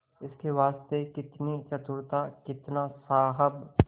इसके वास्ते कितनी चतुरता कितना साहब